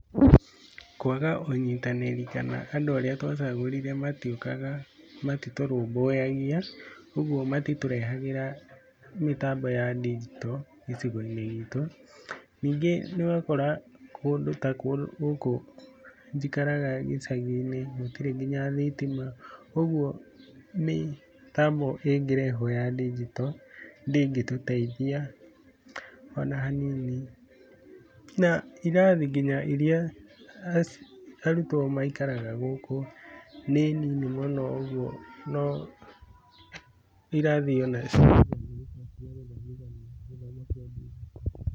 Kwaga ũnyitanĩri kana andũ arĩa twacagũrire matiũkaga, matitũrũmbũyagia, ũguo matitũrehagĩra mĩtambo ya ndingito gĩcigo-inĩ gitũ. Ningĩ nĩ ũrakora kũndũ ta gũkũ njikaraga gĩcagi-inĩ, gũtirĩ nginya thitima, ũguo mĩtambo ĩngĩrehwo ya ndingito ndĩngĩtũteithia o na hanini na irathi nginya iria arutwo maikaraga gũkũ nĩ nini mũno ũguo no irathi o nacio - gũthomithania gĩthomo kĩa ndingito.